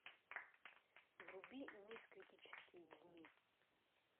вруби мисс критические дни